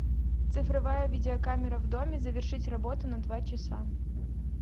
цифровая видеокамера в доме завершить работу на два часа